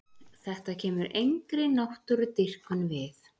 Þetta kemur engri náttúrudýrkun við.